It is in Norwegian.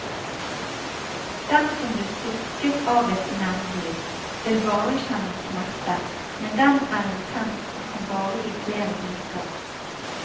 Den som blir stukket av et nebbdyr, vil bare kjenne smerte, men den er intens og kan vare i flere uker.